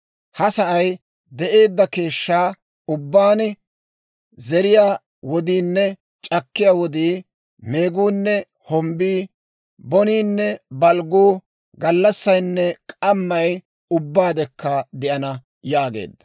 Ha sa'ay de'eedda keeshshaa ubbaan, zeriyaa wodiinne c'akkiyaa wodii, meeguunne hombbii, boniinne balgguu, gallassaynne k'ammay ubbaadekka de'ana» yaageedda.